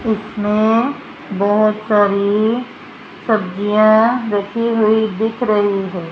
उसमें बहोत सारी सब्जियां रखी हुई दिख रही है।